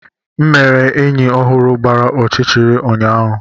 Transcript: M mere enyi ọhụrụ gbara ọchịchịrị ụnyaahụ.